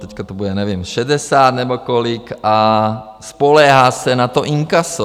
Teď to bude, nevím, 60 nebo kolik, a spoléhá se na to inkaso.